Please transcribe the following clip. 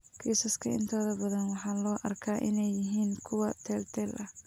Kiisaska intooda badan waxaa loo arkaa inay yihiin kuwo teel-teel ah.